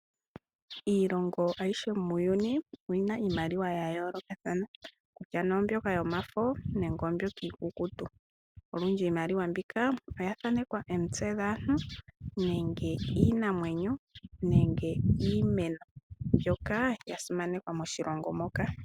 Iilongo ayishe muuyuni oyina iimaliwa yayoolokathana kutya nee oomyoka yomafo nenge iikukutu olundji iimaliwa mbika oyathanekwa omitse dhaantu nenge iinamwenyo nenge iimeno mbyoka yasimanekwa moshilongo moka.